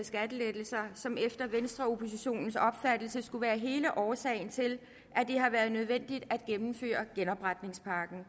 skattelettelser som efter venstreoppositionens opfattelse skulle være hele årsagen til at det har været nødvendigt at gennemføre genopretningspakken